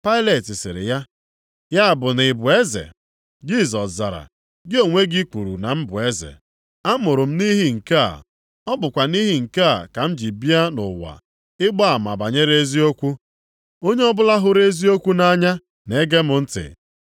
Pailet sịrị ya, “Ya bụ na ị bụ eze?” Jisọs zara, “Gị onwe gị kwuru na m bụ eze. Amụrụ m nʼihi nke a, ọ bụkwa nʼihi nke a ka m ji bi a nʼụwa ịgba ama banyere eziokwu. Onye ọbụla hụrụ eziokwu nʼanya na-ege m ntị.”